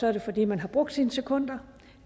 er det fordi man har brugt sine sekunder